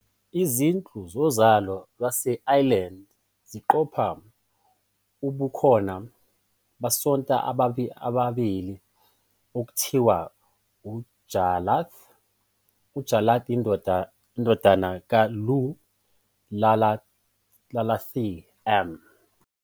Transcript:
Izinhlu zozalo lwase-Ireland ziqopha ubukhona "bosanta ababili okuthiwa uJarlath- Jarlath indodana kaLugh, Iarlaithe m."